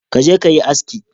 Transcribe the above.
Ka je ka yi aski